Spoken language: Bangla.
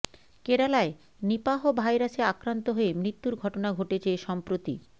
কেরালায় নিপাহ ভাইরাসে আক্রান্ত হয়ে মৃত্যুর ঘটনা ঘটেছে সম্প্রতি